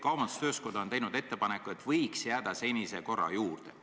Kaubandus-tööstuskoda on teinud ettepaneku, et võiks jääda senise korra juurde.